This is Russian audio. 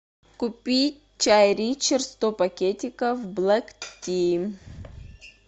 купи чай ричард сто пакетиков блэк ти